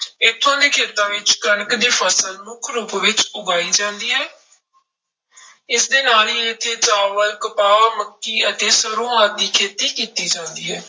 ਇੱਥੋਂ ਦੇ ਖੇਤਾਂ ਵਿੱਚ ਕਣਕ ਦੀ ਫਸਲ ਮੁੱਖ ਰੂਪ ਵਿੱਚ ਉਗਾਈ ਜਾਂਦੀ ਹੈ ਇਸਦੇ ਨਾਲ ਹੀ ਇੱਥੇ ਚਾਵਲ, ਕਪਾਹ, ਮੱਕੀ ਅਤੇ ਸਰੋਂ ਆਦਿ ਦੀ ਖੇਤੀ ਕੀਤੀ ਜਾਂਦੀ ਹੈ।